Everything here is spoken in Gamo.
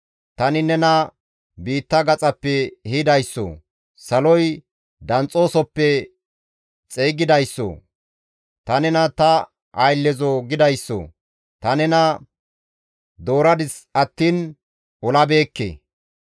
tani nena biitta gaxappe ehidayssoo, saloy danxxoosoppe xeygidayssoo, ‹Ta nena ta ayllezoo› gidayssoo ta nena dooradis attiin olaagabeekke.